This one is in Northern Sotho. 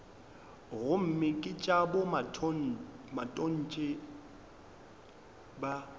gomme ke tša bomatontshe ba